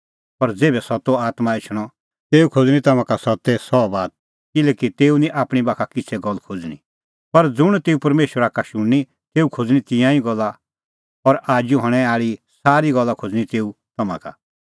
पर ज़ेभै सत्तो आत्मां एछणअ तेऊ खोज़णीं तम्हां का सत्ते सह बात किल्हैकि तेऊ निं आपणीं बाखा किछ़ै गल्ल खोज़णीं पर ज़ुंण तेऊ परमेशरा का शुणनी तेऊ खोज़णीं तिंयां ई गल्ला और आजू हणैं आल़ी सारी गल्ला खोज़णीं तेऊ तम्हां का